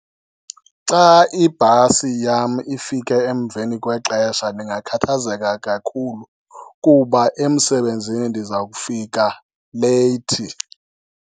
Xa ibhasi yam ifike emveni kwexesha ndingakhathazeka kakhulu, kuba emsebenzini ndiza kufika leyithi.